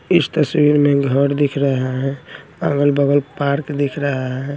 इस तस्वीर में घर दिख रहा हैं अगल-बगल पार्क दिख रहा हैं।